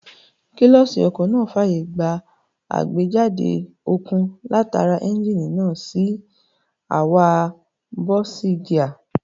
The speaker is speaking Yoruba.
Kílọ̀ṣì ọkọ̀ náà fàyè gba àgbéjáde okun látara éúnjínì náà sí àwa bọ́ọ̀sìgíà